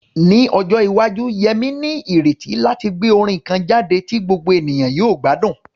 Ní ọjọ́ iwájú, Yemi ní ìrètí láti gbé orin kan jáde tí gbogbo ènìyàn yóò gbádùn.